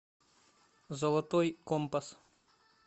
золотой компас